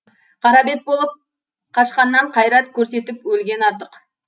қара бет болып қашқаннан қайрат көрсетіп өлген артық